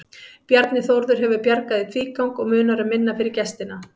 Bjarni Þórður hefur bjargað í tvígang og munar um minna fyrir gestina.